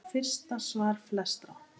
Þetta var fyrsta svar flestra?